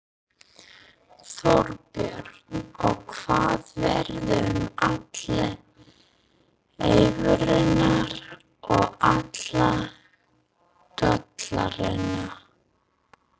Þorbjörn: Og hvað verður um allar evrurnar og alla dollarana?